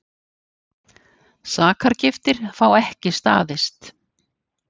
Sakargiftir fá ekki staðist